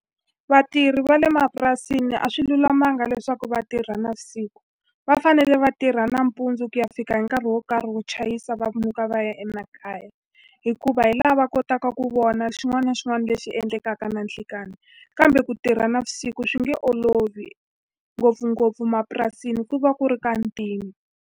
Vatirhi va le mapurasini a swi lulamanga leswaku va tirha navusiku, va fanele va tirha nampundzu ku ya fika hi nkarhi wo karhi wo chayisa va muka va ya emakaya. Hikuva hi laha va kotaka ku vona xin'wana na xin'wana lexi endlekaka na nhlikani. Kambe ku tirha navusiku swi nge olovi, ngopfungopfu emapurasini ku va ku ri ka ntima.